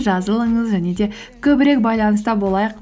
жазылыңыз және де көбірек байланыста болайық